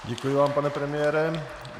Děkuji vám, pane premiére.